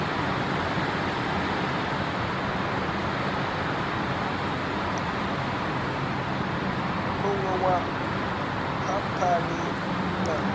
muṋe wa khamphani u na